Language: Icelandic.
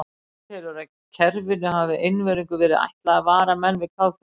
Hann telur, að kerfinu hafi einvörðungu verið ætlað að vara menn við kafbátum.